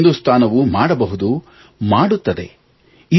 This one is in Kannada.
ಇದನ್ನು ಹಿಂದುಸ್ತಾನವು ಮಾಡಬಹುದು ಮಾಡುತ್ತದೆ